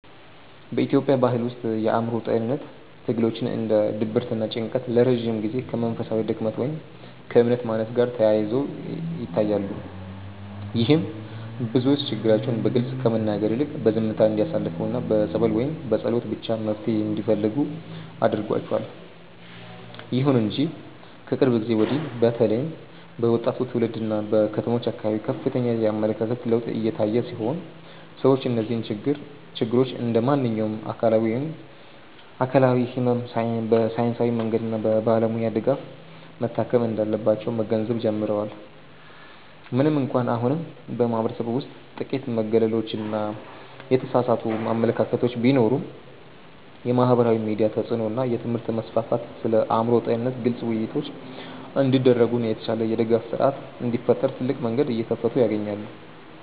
በኢትዮጵያ ባሕል ውስጥ የአእምሮ ጤንነት ትግሎች እንደ ድብርትና ጭንቀት ለረጅም ጊዜ ከመንፈሳዊ ድክመት ወይም ከእምነት ማነስ ጋር ተያይዘው ይታያሉ። ይህም ብዙዎች ችግራቸውን በግልጽ ከመናገር ይልቅ በዝምታ እንዲያሳልፉና በጸበል ወይም በጸሎት ብቻ መፍትሔ እንዲፈልጉ አድርጓቸዋል። ይሁን እንጂ ከቅርብ ጊዜ ወዲህ በተለይም በወጣቱ ትውልድና በከተሞች አካባቢ ከፍተኛ የአመለካከት ለውጥ እየታየ ሲሆን፣ ሰዎች እነዚህን ችግሮች እንደ ማንኛውም አካላዊ ሕመም በሳይንሳዊ መንገድና በባለሙያ ድጋፍ መታከም እንዳለባቸው መገንዘብ ጀምረዋል። ምንም እንኳን አሁንም በማኅበረሰቡ ውስጥ ጥቂት መገለሎችና የተሳሳቱ አመለካከቶች ቢኖሩም፣ የማኅበራዊ ሚዲያ ተጽዕኖ እና የትምህርት መስፋፋት ስለ አእምሮ ጤንነት ግልጽ ውይይቶች እንዲደረጉና የተሻለ የድጋፍ ሥርዓት እንዲፈጠር ትልቅ መንገድ እየከፈቱ ይገኛሉ።